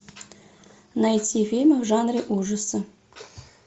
найти фильмы в жанре ужасы